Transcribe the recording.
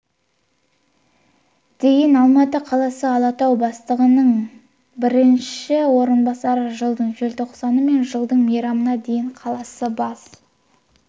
дейін алматы қаласы алатау бастығының бірінші орынбасары жылдың желтоқсаны мен жылдың мамырына дейін қаласы бас